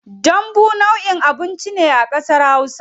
Dambu nau'in abinci ne a kasar hausa.